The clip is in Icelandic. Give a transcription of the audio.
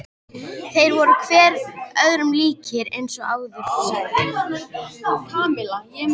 Þeir voru hver öðrum líkir eins og áður sagði.